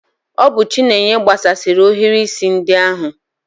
Ọ bụ chinenye gbasasịri ohiri isi ndi ahu